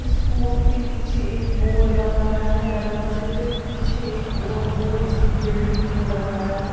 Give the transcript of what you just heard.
school के नीचे एक बोर्ड लगाया है दरवाजे पे पीछे एक और बोर्ड इसकी बिल्डिंग पे लगाया गया --